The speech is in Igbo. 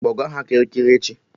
Kpọga ya Kirikiri echi!